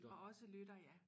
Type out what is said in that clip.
Og også lytter ja